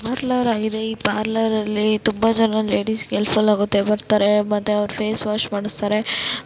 ಇದೊಂದು ಪಾರ್ಲರ್ ಆಗಿದೆ ಈ ಪಾರ್ಲರ್ ಲ್ಲಿ ತುಂಬಾ ಜನ ಲೇಡೀಸ್ ಮತ್ತೆ ಅವರ ಫೇಸ್ ವಾಶ್ ಮಾಡಿಸುತ್ತಾರೆ.